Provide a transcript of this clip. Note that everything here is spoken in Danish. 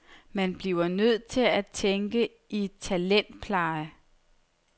Man bliver nødt til at tænke i talentpleje.